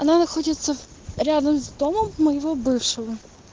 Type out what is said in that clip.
она находится рядом с домом моего бывшего